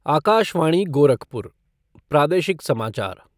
आकाशवाणी गोरखपुर प्रादेशिक समाचार